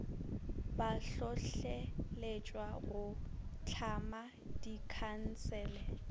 ba hlohleletšwa go tlhama dikhansele